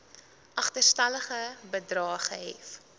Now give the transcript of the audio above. agterstallige bedrae gehef